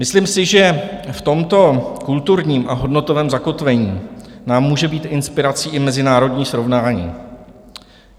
Myslím si, že v tomto kulturním a hodnotovém zakotvení nám může být inspirací i mezinárodní srovnání.